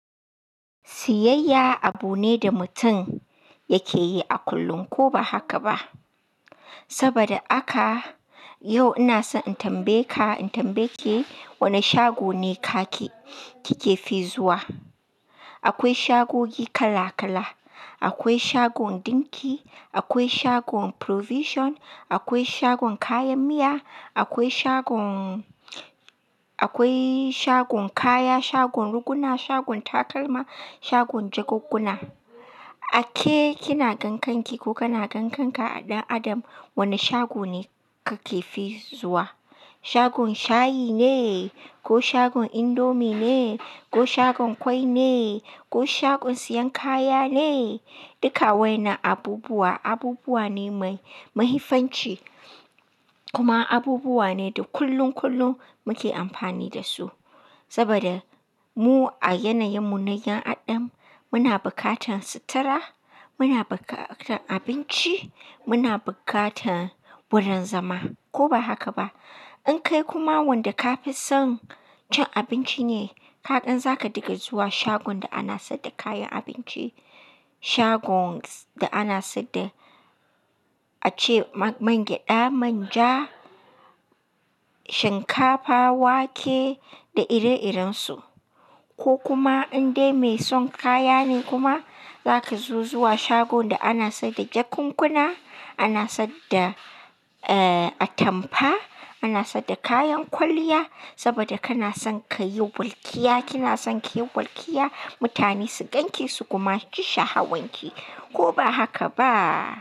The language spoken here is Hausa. Siyayya abu ne da mutum yake yi a kullum ko ba haka ba. Saboda haka yau ina so in tambaye ka, in tambaye ki wani shago ne kaki, kike fi zuwa? Akwai shagogi kala kala. Akwai shagon dinki, akwai shagon provision, akwai shagon kayan miya, akwai shagon, akwai shagon kaya, shagon riguna, shagon takalma, shagon jakunkuna. A ke kina gan kanki ko kana gan kanka ɗan adam wani shago ne kake fi zuwa? Shagon shayi ne ko shagon indomie ne ko shagon kwai ne ko shagon siyan kaya ne? Duka waɗannan abubuwa abubuwa ne mai, mafifanci. Kuma abubuwa ne da kullun kullum muke amfani da su. Saboda mu a yanayin munayan adam muna bukatan sutura, muna bukatan abinci, muna bukatan wurin zama ko ba haka ba. In kai kuma wanda ka fi son cin abinci ne, kaɗan za ka dinga zuwa shagon da ana saida kayan abinci. Shagons da ana saida ace mangyaɗa, manja, shinkafa, wake da ire-irensu. Ko kuma in dai mai son kaya ne kuma zaka zo zuwa shagon da ana saida jakunkuna, ana saida eh atampa, ana saida kayan kwalliya saboda kana son kayi burkiya, kina son kayi burkiya, mutane su ganki su kuma ji sha'awanki.